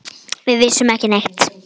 Við vissum ekki neitt.